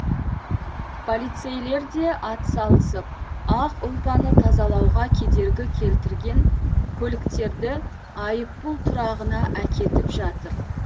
полицейлер де атсалысып ақ ұлпаны тазалауға кедергі келтірген көліктерді айыппұл тұрағына әкетіп жатыр